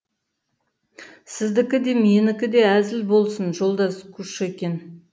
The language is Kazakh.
сіздікі де менікі де әзіл болсын жолдас кушекин